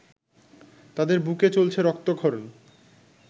তাদের বুকে চলছে রক্তক্ষরণ!